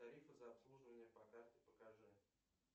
тарифы за обслуживание по карте покажи